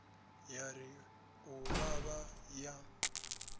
ya ri u vhavha ya